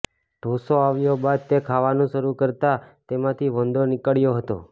ઢોંસો આવ્યા બાદ તે ખાવાનું શરૂ કરતા તેમાંથી વંદો નીકળ્યો હતો